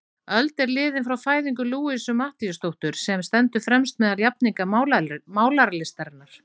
Öld er liðin frá fæðingu Louisu Matthíasdóttur, sem stendur fremst meðal jafningja málaralistarinnar.